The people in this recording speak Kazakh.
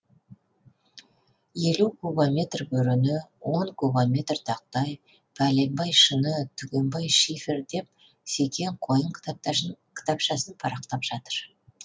елу кубометр бөрене он кубометр тақтай пәленбай шыны түгенбай шифер деп секең қойын кітапшасын парақтап жатыр